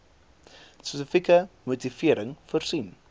spesifieke motivering voorsien